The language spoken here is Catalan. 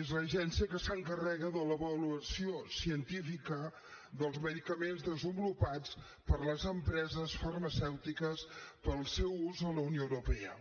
és l’agència que s’encarrega de l’avaluació científica dels medicaments desenvolupats per les empreses farmacèutiques per al seu ús a la unió europea